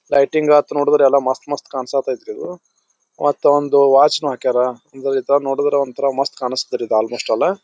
ಲೈಟಿಂಗತ ನೋಡಿದ್ರೆ ಎಲ್ಲಾ ಮಸ್ತ್ ಮಸ್ತ್ ಕಾಣ್ಸಾತ್ರಿ ಇದು ಮತ್ತೊಂದು ವಾಚ್ ನು ಹಾಕಾರ ಇಂತವೂ ನೋಡುದ್ರೆ ಮಸ್ತ್ ಕಾಣ್ಸ್ತತೆ ಆಲ್ಮೋಸ್ಟ್ ಆಲ್ .